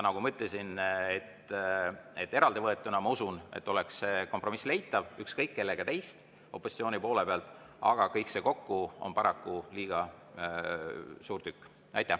Nagu ma ütlesin, eraldi võetuna, ma usun, oleks see kompromiss leitav ükskõik kellega teist opositsiooni poole pealt, aga kõik see kokku on paraku liiga suur tükk.